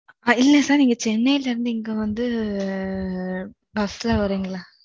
இல்ல sir, நீங்க சென்னையில இருந்து, இங்க வந்து, ஆஹ் bus ல வரீங்களா?